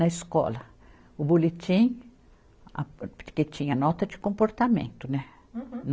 Na escola, o boletim, a porque tinha nota de comportamento, né? Uhum